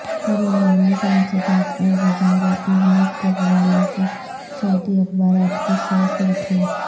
بدعنوانی کے انسداد اور وزارت محنت کے حوالے سے سعودی اخبارات کی شہ سرخیاں